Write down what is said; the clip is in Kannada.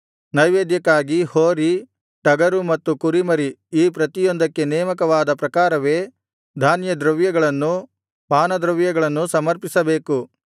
ನೈವೇದ್ಯಕ್ಕಾಗಿ ಹೋರಿ ಟಗರು ಮತ್ತು ಕುರಿಮರಿ ಈ ಪ್ರತಿಯೊಂದಕ್ಕೆ ನೇಮಕವಾದ ಪ್ರಕಾರವೇ ಧಾನ್ಯದ್ರವ್ಯಗಳನ್ನೂ ಪಾನದ್ರವ್ಯಗಳನ್ನೂ ಸಮರ್ಪಿಸಬೇಕು